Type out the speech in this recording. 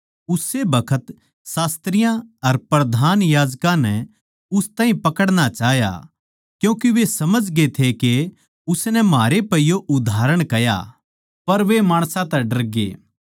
उस्से बखत शास्त्रियाँ अर प्रधान याजकां नै उस ताहीं पकड़ना चाह्या क्यूँके वे समझगे थे के उसनै म्हारै पै यो उदाहरण कह्या पर वे माणसां तै डरगे